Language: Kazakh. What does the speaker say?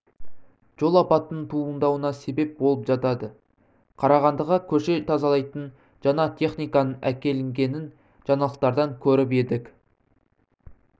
жол апатының туындауына себеп болып жатады қарағандыға көше тазалайтын жаңа техниканың әкелінгенін жаңалықтардан көріп едік